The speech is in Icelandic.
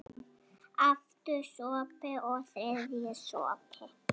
Aftur sopi, og þriðji sopi.